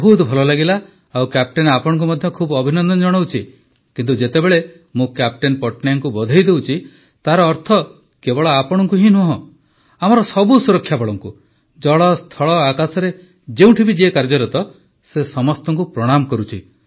ବହୁତ ଭଲ ଲାଗିଲା ଓ କ୍ୟାପ୍ଟେନ ଆପଣଙ୍କୁ ମଧ୍ୟ ଖୁବ୍ ଅଭିନନ୍ଦନ ଜଣାଉଛି କିନ୍ତୁ ଯେତେବେଳେ ମୁଁ କ୍ୟାପ୍ଟେନ ପଟ୍ଟନାୟକଙ୍କୁ ବଧେଇ ଦେଉଛି ତାର ଅର୍ଥ କେବଳ ଆପଣଙ୍କୁ ହିଁ ନୁହଁ ଆମର ସବୁ ସୁରକ୍ଷାବଳଙ୍କୁ ଜଳ ସ୍ଥଳ ଆକାଶରେ ଯେଉଁଠି ବି କାର୍ଯ୍ୟରତ ସେ ସମସ୍ତଙ୍କୁ ପ୍ରଣାମ କରୁଛି